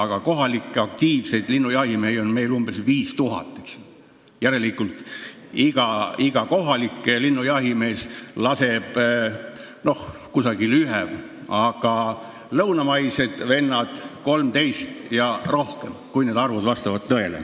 Kuna kohalikke aktiivseid linnujahimehi on meil umbes 5000, siis järelikult laseb iga kohalik linnujahimees umbes ühe linnu, aga lõunamaised vennad 13 ja rohkem, kui need arvud tõele vastavad.